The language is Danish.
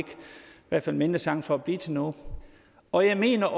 hvert fald mindre chance for at blive til noget og jeg mener